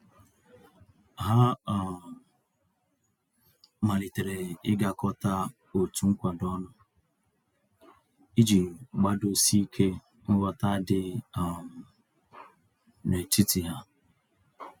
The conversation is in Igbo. Ha um malitere ịgakọta otu nkwado ọnụ, iji gbadosi ike nghọta dị um n'etiti ha.